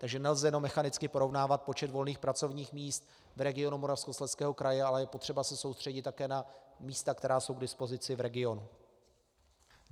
Takže nelze jenom mechanicky porovnávat počet volných pracovních míst v regionu Moravskoslezského kraje, ale je potřeba se soustředit také na místa, která jsou k dispozici v regionu.